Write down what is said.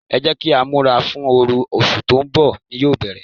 Ẹ jẹ́ kí á múra fún oru, oṣù tó ń bọ̀ ni yóò bere.